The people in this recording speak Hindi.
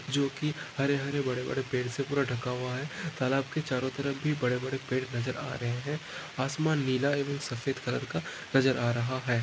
जोकि हरे-हरे भरे पेड़ से पूरा ढका हुआ है तालाब की चारों तरफ ही बड़े बड़े पेड़ नज़र आ रहे है आसमान नीला एव सफ़ेद कलर का नज़र आ रहा है।